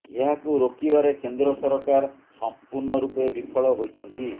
ଏହାକୁ ରୋକିବାରେ କେନ୍ଦ୍ର ସରକାର ସମ୍ପୂର୍ଣ୍ଣ ରୂପେ ବିଫଳ ହୋଇଛନ୍ତି